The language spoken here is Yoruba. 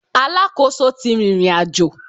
Alákòóso ti rìnrìnàjò